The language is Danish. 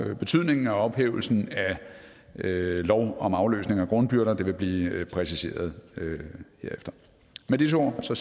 betydningen af ophævelsen af lov om afløsning af grundbyrder vil blive præciseret med disse ord ser